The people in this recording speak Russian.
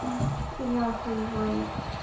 я охуеваю